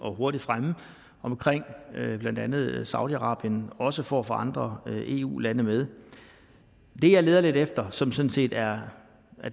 og hurtigt fremme blandt andet i saudi arabien også for at få andre eu lande med det jeg leder lidt efter som sådan set er